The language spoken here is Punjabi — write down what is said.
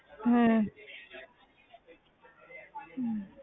ਹਮ ਹਮ